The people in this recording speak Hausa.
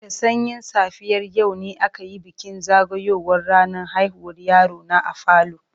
Da sanyin safiyar yau ne aka yi bikin zagayowar ranar haihuwar yaro na a falo.